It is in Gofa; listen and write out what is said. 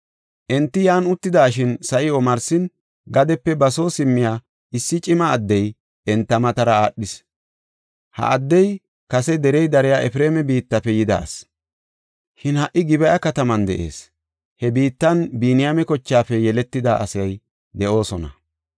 Enti yan uttidashin, sa7i omarsin gadepe ba soo simmiya issi cima addey enta matara aadhis. Ha addey kase derey dariya Efreema biittafe yida asi; shin ha77i Gib7a kataman de7ees. He biittan Biniyaame kochaafe yeletida asay de7oosona.